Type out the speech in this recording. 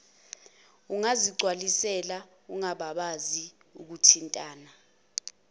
ungazigcwalisela ungangabazi ukuthintana